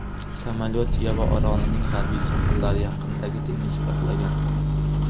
Samolyot Yava orolining g‘arbiy sohillari yaqinidagi dengizga qulagan.